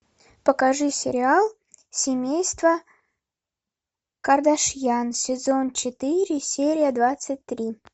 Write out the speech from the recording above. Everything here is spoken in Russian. покажи сериал семейство кардашьян сезон четыре серия двадцать три